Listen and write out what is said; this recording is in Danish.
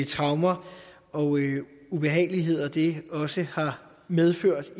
traumer og ubehageligheder det også har medført